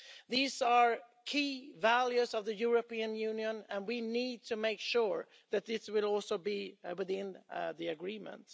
These are key values of the European Union, and we need to make sure that this will also be within the agreement.